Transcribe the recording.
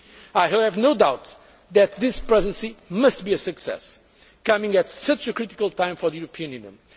consideration. I have no doubt that this Presidency must be a success, coming at such a critical time for the